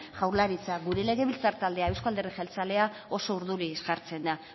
jaurlaritza gure legebiltzar taldea euzko alderdi jeltzalea oso urduri jartzen da